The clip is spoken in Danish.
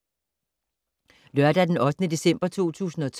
Lørdag d. 8. december 2012